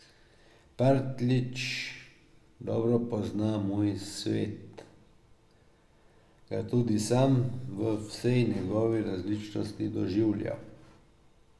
Partljič dobro pozna moj svet, ga je tudi sam v vsej njegovi resničnosti doživljal.